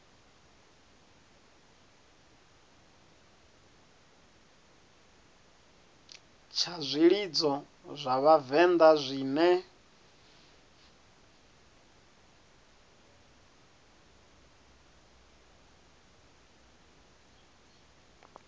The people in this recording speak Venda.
tsha zwilidzo zwa vhavenḓa zwine